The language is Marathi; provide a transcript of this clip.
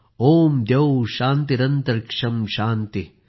ओम द्यौः शान्तिरन्तरिक्षँ शान्तिः